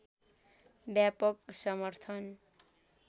व्यापक समर्थन